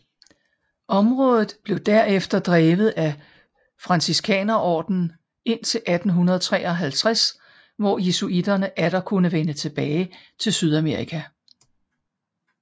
Området blev derefter drevet af Franciskanerordenen indtil 1853 hvor jesuitterne atter kunne vende tilbage til Sydamerika